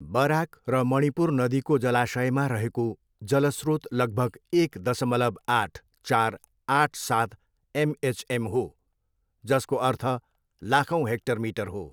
Barack र मणिपुर नदीको जलाशयमा रहेको जल स्रोत लगभग एक दसमलव आठ, चार, आठ, सात एमएचएम हो जसको अर्थ लाखौँ हेक्टर मिटर हो।